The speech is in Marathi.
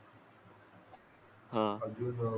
अजून